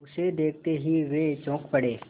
उसे देखते ही वे चौंक पड़े